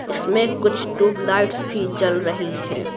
इसमें कुछ ट्यूबलाइट्स भी जल रही हैं।